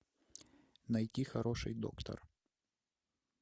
найти хороший доктор